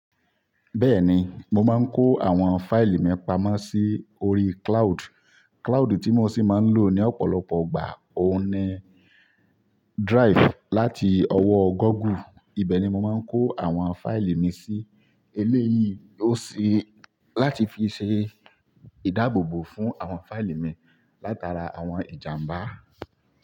Bẹ́ẹ̀ni, mo máa ń kó àwọn fáìlì mi pamọ́ sí orí cloud. Cloud tí mo sì máa ń lò ní ọ̀pọ̀lọpọ̀ gbà, ó ni drive láti ọwọ́ Google. Ibẹ̀ ni mo máa ń kó àwọn fáìlì mi sí. Eléyìí ó ṣe láti fi ṣe ìdáàbòbò fún àwọn fáìlì mi látara àwọn ìjàmbá.